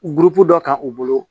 dɔ kan u bolo